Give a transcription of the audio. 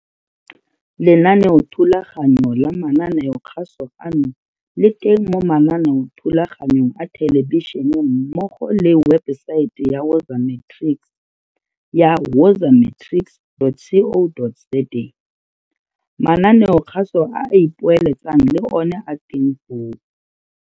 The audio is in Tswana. Lenaneothulaganyo la mananeokgaso ano le teng mo mananeothulaganyong a thelebišene mmogo le mo webesaeteng ya Woza Matrics ya wozamatrics dot co dot za. Mananeokgaso a a ipoeletsang le one a teng foo.